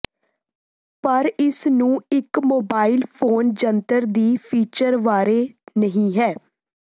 ਪਰ ਇਸ ਨੂੰ ਇੱਕ ਮੋਬਾਈਲ ਫੋਨ ਜੰਤਰ ਦੀ ਫੀਚਰ ਬਾਰੇ ਨਹੀ ਹੈ